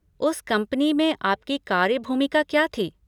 उस कंपनी में आपकी कार्य भूमिका क्या थी?